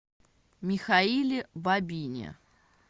михаиле бабине